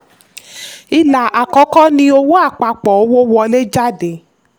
ilà àkọ́kọ́ ni "owó àpapọ̀" owó wọlé/jáde.